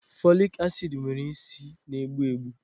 Folic acid nwere isi na-egbu egbu